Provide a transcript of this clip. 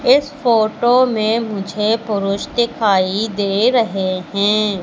इस फोटो में मुझे पुरुष दिखाई दे रहे हैं।